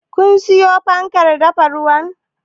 Kun siyo fankar dafa ruwan?